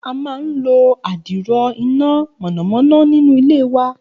A máa ń lo adiro iná mọ̀nàmọ́ná nínú ilé wa.